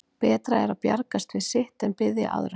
Betra er að bjargast við sitt en biðja aðra.